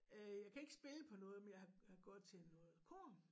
Øh jeg kan ikke spille på noget men jeg har har gået til noget kor